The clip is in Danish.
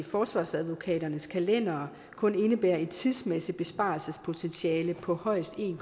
forsvarsadvokaternes kalendere kun indebærer et tidsmæssigt besparelsespotentiale på højst en